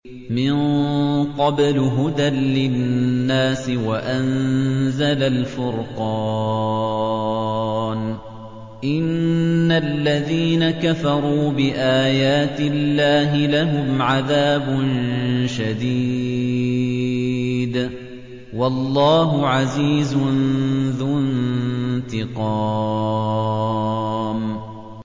مِن قَبْلُ هُدًى لِّلنَّاسِ وَأَنزَلَ الْفُرْقَانَ ۗ إِنَّ الَّذِينَ كَفَرُوا بِآيَاتِ اللَّهِ لَهُمْ عَذَابٌ شَدِيدٌ ۗ وَاللَّهُ عَزِيزٌ ذُو انتِقَامٍ